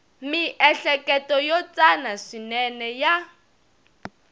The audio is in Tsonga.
miehleketo yo tsana swinene ya